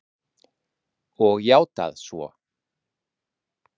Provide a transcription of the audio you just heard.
Og játað svo.